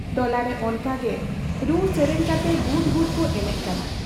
ᱴᱚᱞᱟᱨᱮ ᱚᱱᱠᱟᱜᱮ ᱨᱩ ᱥᱮᱨᱮᱧ ᱠᱟᱛᱮ ᱜᱩᱰ ᱜᱩᱰ ᱠᱚ ᱮᱱᱮᱡ ᱠᱟᱱᱟ ᱾